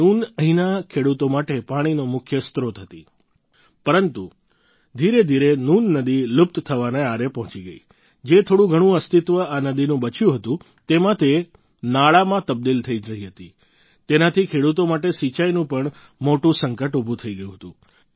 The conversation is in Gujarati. નૂન અહીંના ખેડૂતો માટે પાણીનો મુખ્ય સ્ત્રોત હતો પરંતુ ધીરેધીરે નૂન નદી લુપ્ત થવાના આરે પહોંચી ગઈ જે થોડું ઘણું અસ્તિત્વ આ નદીનું બચ્યું હતું તેમાં તે નાળામાં તબદિલ થઈ રહી હતી તેનાથી ખેડૂતો માટે સિંચાઈનું પણ મોટું સંકટ ઉભું થઈ ગયું હતું